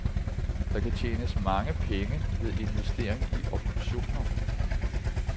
Der kan tjenes mange penge ved investering i optioner.